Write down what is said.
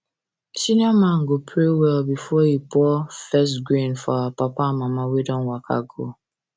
senior man go pray well before he pour first grain for our papa and mama wey don waka go